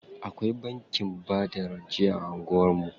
Akwai bankin bada rance a anguwan mu.